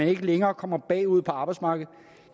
ikke længere kommer bagud på arbejdsmarkedet